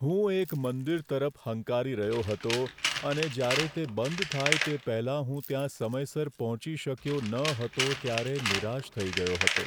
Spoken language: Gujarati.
હું એક મંદિર તરફ હંકારી રહ્યો હતો અને જ્યારે તે બંધ થાય તે પહેલાં હું ત્યાં સમયસર પહોંચી શક્યો ન હતો ત્યારે નિરાશ થઈ ગયો હતો.